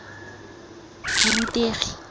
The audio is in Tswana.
borutegi